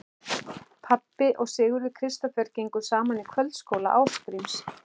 Pabbi og Sigurður Kristófer gengu saman í kvöldskóla Ásgríms